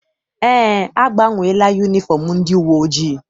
Eé, agbanweela yunifọm ndị uwe ojii.